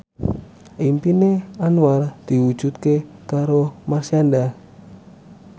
impine Anwar diwujudke karo Marshanda